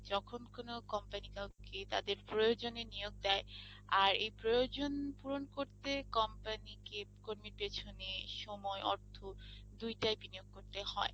যখন কোন company কাউকে তাদের প্রয়োজনে নিয়োগ দেয়, আর এই প্রয়োজন পূরণ করতে company কে কর্মীর পেছনে সময় অর্থ দুইটাই বিনিয়োগ করতে হয়।